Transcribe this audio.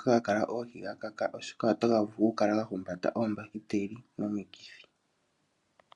ga kala mo ga kaka, oshoka otaga vulu okukala ga humbata oombakiteli nomikithi.